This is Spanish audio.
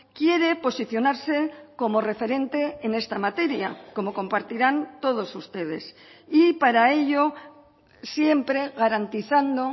quiere posicionarse como referente en esta materia como compartirán todos ustedes y para ello siempre garantizando